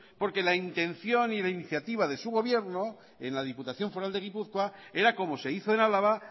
porque la intención y la iniciativa de su gobierno en la diputación foral de gipuzkoa era como se hizo en álava